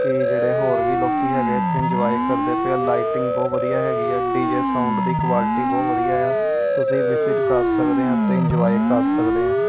ਕਿ ਜਿਹੜੇ ਹੋਰ ਵੀ ਲੋਕੀ ਹੈਗੇ ਇਥੇ ਇੰਜੋਏ ਕਰਦੇ ਪਏ ਆ। ਲਾਈਟਿੰਗ ਬਹੁਤ ਵਧੀਆ ਹੈਗੀ ਡੀ_ਜੇ ਸਾਊਂਡ ਦੀ ਕੁਆਲਿਟੀ ਬਹੁਤ ਵਧੀਆ ਹੈ। ਤੁਸੀਂ ਵਿਜਿਟ ਕਰ ਸਕਦੇ ਹੋ ਤੇ ਇੰਜੋਏ ਕਰ ਸਕਦੇ ਆ।